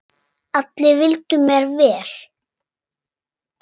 Allir vildu mér vel.